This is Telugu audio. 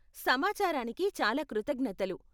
సమాచారానికి చాలా కృతజ్ఞతలు.